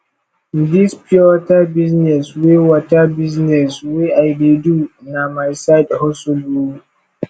dis pure water business wey water business wey i dey do na my side hustle o